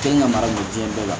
Te nga mara ɲɛ biɲɛ bɛɛ la